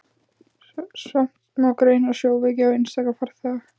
Samt má greina sjóveiki á einstaka farþega.